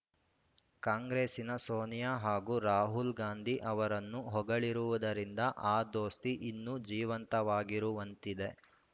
ಕಾಂಗ್ರೆಸ್ಸಿನ ಸೋನಿಯಾ ಹಾಗೂ ರಾಹುಲ್‌ ಗಾಂಧಿ ಅವರನ್ನು ಹೊಗಳಿರುವುದರಿಂದ ಆ ದೋಸ್ತಿ ಇನ್ನೂ ಜೀವಂತವಾಗಿರುವಂತಿದೆ